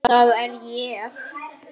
Það er ég.